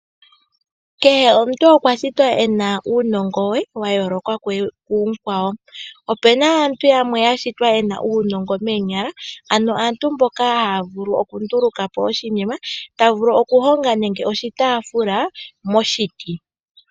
Kehe omuntu okwashitwa ena uunongo we wayooloka kumukwawo. Opena aantu yamwe yashitwa yena uunongo meenyala, ano aantu mboka haavulu okundulukapo oshinima tavulu okuhonga nande oshitaafula moshiti